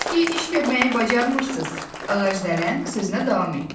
"Siz ki iş görməyi bacarmırsınız." ağacdələn sözünə davam etdi.